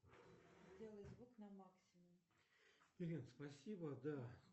сделай звук на максимум